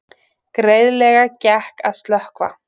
Greiðlega gekk að slökkva